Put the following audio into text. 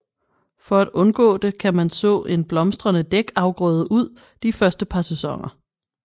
For at undgå det kan man så en blomstrende dækafgrøde ud de første par sæsoner